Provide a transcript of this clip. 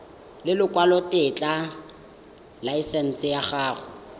ya lekwalotetla laesense ya go